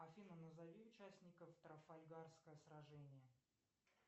афина назови участников трафальгарское сражение